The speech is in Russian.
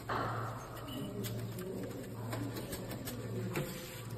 что найдешь из влогов авичи офишел виво